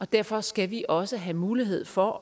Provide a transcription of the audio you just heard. derfor skal vi også have mulighed for